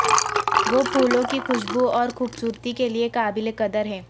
وہ پھولوں کی خوشبو اور خوبصورتی کے لئے قابل قدر ہیں